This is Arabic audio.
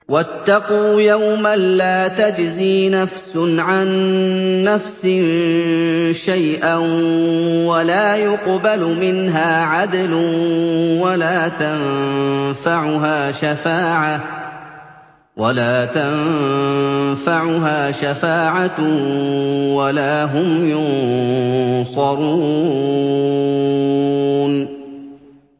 وَاتَّقُوا يَوْمًا لَّا تَجْزِي نَفْسٌ عَن نَّفْسٍ شَيْئًا وَلَا يُقْبَلُ مِنْهَا عَدْلٌ وَلَا تَنفَعُهَا شَفَاعَةٌ وَلَا هُمْ يُنصَرُونَ